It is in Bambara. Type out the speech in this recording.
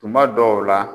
Tuma dɔw la